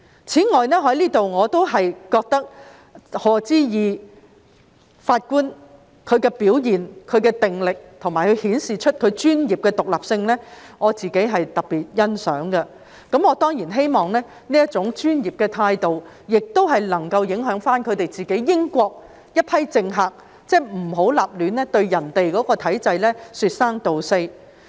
此外，對於賀知義法官的表現、定力，以及他顯示的專業獨立性，我特別欣賞，我當然希望這種專業態度能影響英國這批政客，不要隨意對其他體制說三道四。